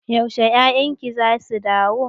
Yaushe 'ya'yan ki za su dawo?